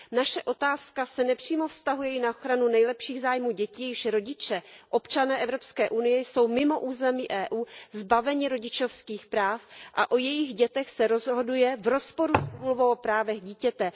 Naše otázka se nepřímo vztahuje i na ochranu nejlepších zájmů dětí, jejichž rodiče, občané Evropské unie, jsou mimo území Evropské unie zbaveni rodičovských práv a o jejich dětech se rozhoduje v rozporu s Úmluvou o právech dítěte.